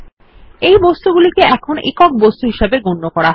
এই বস্তুগুলিকে এখন একক বস্তু হিসাবে গন্য করা হয়